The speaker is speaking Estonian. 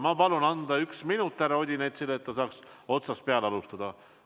Ma palun anda üks minut härra Odinetsile juurde, et ta saaks otsast peale alustada.